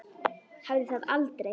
Hafði það aldrei.